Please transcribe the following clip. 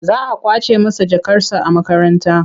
Za a ƙwace masa jakarsa a makaranta.